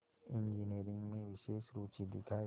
engineering में विशेष रुचि दिखाई